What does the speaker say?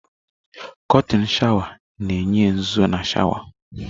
Kọrtịn sháwà na-enye nzụzọ na sháwà.